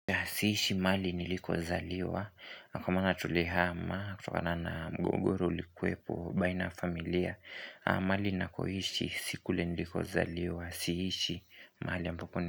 Siishi mahali nilikozaliwa, kwa maana tulihama, kutokana na mgogoro uliokuwepo, baina ya familia, mahali ninakoishi, sio kule nilikozaliwa, siishi, mahali ambapo ni.